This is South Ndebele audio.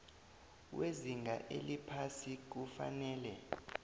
wezinga eliphasi kufanele